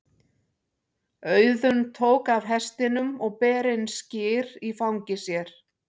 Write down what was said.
Auðunn tók af hestinum og ber inn skyr í fangi sér.